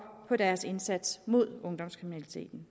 på deres indsats mod ungdomskriminaliteten